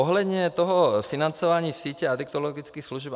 Ohledně toho financování sítě adiktologických služeb.